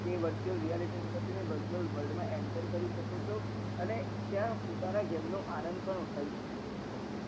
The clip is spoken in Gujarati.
એ virtual realityworld મા enter કરી શકો છો અને ત્યાં પોતાના game નો આનંદ પણ ઉઠાવી શકો છો